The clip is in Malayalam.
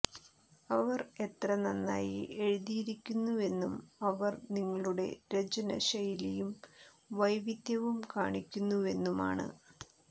അവർ എത്ര നന്നായി എഴുതിയിരിക്കുന്നുവെന്നും അവർ നിങ്ങളുടെ രചന ശൈലിയും വൈവിധ്യവും കാണിക്കുന്നുവെന്നുമാണ്